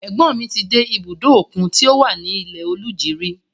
Ẹ̀gbọ́n ni ti dé ibùdó òkun tí ó wà ní Ilẹ-Oluji rí.